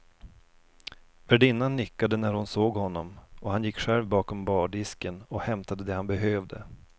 Värdinnan nickade när hon såg honom och han gick själv bakom bardisken och hämtade det han behövde.